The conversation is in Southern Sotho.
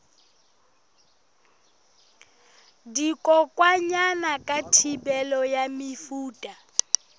dikokwanyana ka thibelo ya mefuta